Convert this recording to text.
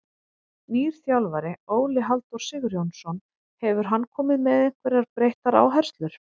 Nýr þjálfari, Óli Halldór Sigurjónsson, hefur hann komið með einhverjar breyttar áherslur?